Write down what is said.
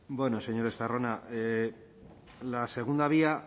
bueno señor estarrona la segunda vía